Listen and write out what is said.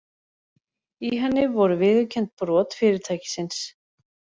Í henni voru viðurkennd brot fyrirtækisins